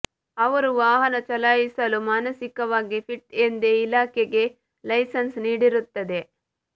ಅವರು ವಾಹನ ಚಲಾಯಿಸಲು ಮಾನಸಿಕವಾಗಿ ಫಿಟ್ ಎಂದೇ ಇಲಾಖೆಗೆ ಲೈಸನ್ಸ್ ನೀಡಿರುತ್ತದೆ